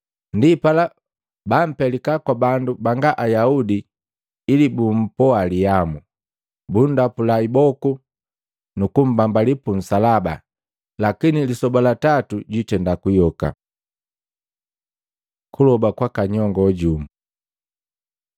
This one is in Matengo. Ndipala baampelika kwa bandu banga Ayaudi ili bumpoalihamu, bunndapula iboku nukumbambali punsalaba lakini lisoba la tatu jwiitenda kuyoka.” Kuloba kwaka nyongo jumu Maluko 10:35-45